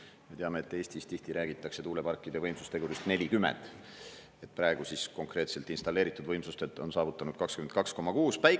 Me teame, et Eestis tihti räägitakse tuuleparkide võimsustegurist 40%, praegu siis konkreetselt installeeritud võimsustelt on saavutatud 22,6%.